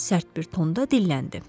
Sərt bir tonda dilləndi.